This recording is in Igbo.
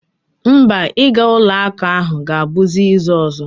Mba, ịga ụlọakụ ahụ ga-abụzi izu ọzọ